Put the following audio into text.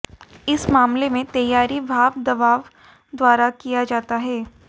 इस मामले में तैयारी भाप दबाव द्वारा किया जाता है